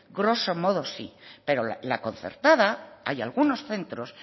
grosso modo sí pero la concertada hay algunos centros